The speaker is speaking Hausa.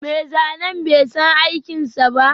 Mai zanen bai san aikinsa ba